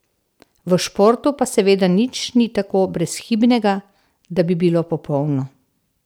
V športu pa seveda nič ni tako brezhibnega, da bi bilo popolno.